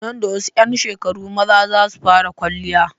Nan da wasu 'yan shekaru maza za su fara kwaliya.